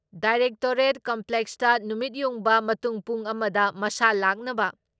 directorate ꯀꯝꯄ꯭ꯂꯦꯛꯁꯇ ꯅꯨꯃꯤꯠꯌꯨꯡꯕ ꯃꯇꯨꯡ ꯄꯨꯡ ꯑꯃ ꯗ ꯃꯁꯥ ꯂꯥꯛꯅꯕ